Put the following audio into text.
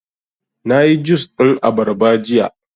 Na yi jus ɗin abarba jiya